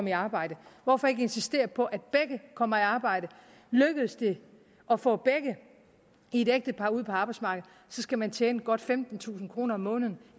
i arbejde hvorfor ikke insistere på at begge kommer i arbejde lykkes det at få begge i et ægtepar ud på arbejdsmarkedet skal man tjene godt femtentusind kroner om måneden